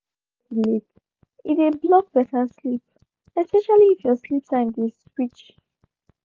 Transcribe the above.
no dey jam coffee late e dey block better sleep especially if your sleep time dey switch